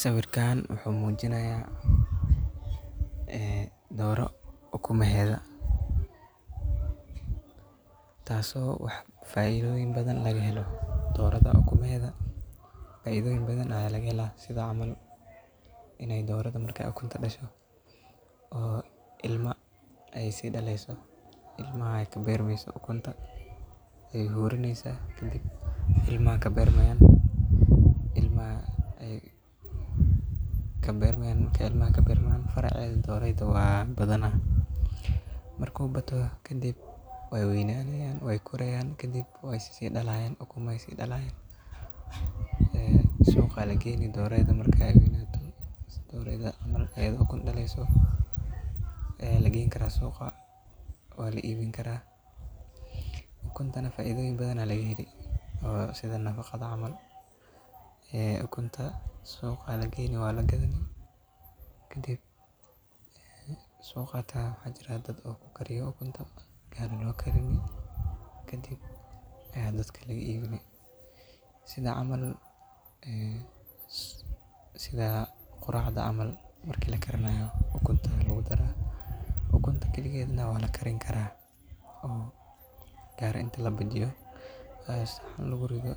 Sawirtan wuxuu muujinayaa, ah, dooro uku meheeda. Taasoo wax faa'iidooyin badan laga helo dooradda uku meheeda. Faa'iidooyin badan ayay laga helaan sidoo camal inay dooradda markay ukunta dasho oo ilma ay sii dhaleyso. Ilma ay ka beerimeyso ukunta ay hurinaysa. Kadib, ilma ka beerimeyn. Ilma ay ka beerimeyn. Marka ilma ka beerimeyn faracay doorayd waa badana. Markuu gato kadib way uwa inaaneeyaan way koreyaan. Kadib way sii dhalaan ukuma sii dhalaan. Eh, suuqa ya lageeni doorayd markay way nato. Doorayda camal ayidho ukun dhaleyso, eh, lageen karaa suuqa waa la iibeen kara. ukuntana faa'iidooyin badana laga heli. Oo sida nafaqada camal, eh, ukunta suuqa lageeni waa la gedi. Kadib suuqa ta waxa jira dad oo ku kariyo ukunta gaar ahi nu ka karini. Kadib ya dad kale iibin. Sida camal, ah, sida quraada camal markii la karnayo ukunta lagu daro ukunta. Keliigeed na wala karin kara o gaar inta la bajiyo. Ah, sahan lagu rido